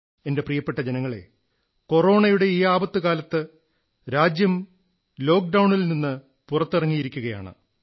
എന്റെ പ്രിയപ്പെട്ട ജനങ്ങളേ കൊറോണയുടെ ഈ ആപത്തുകാലത്ത് രാജ്യം ലോക്ഡൌണിൽ നിന്ന് പുറത്തിറങ്ങിയിരിക്കയാണ്